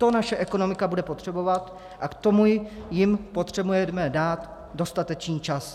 To naše ekonomika bude potřebovat a k tomu jim potřebujeme dát dostatečný čas.